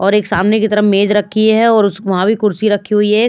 और एक सामने की तरफ मेज़ रखी है और उस वहाँ भी कुर्सी रखी हुई है।